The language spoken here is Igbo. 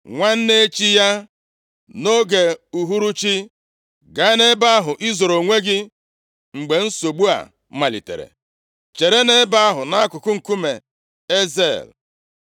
Nwanne echi ya, nʼoge uhuruchi, gaa nʼebe ahụ i zoro onwe gị mgbe nsogbu a malitere, chere nʼebe ahụ, nʼakụkụ nkume Ezel.